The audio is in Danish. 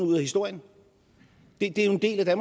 ud af historien det er jo en del af